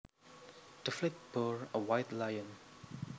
The flag bore a white lion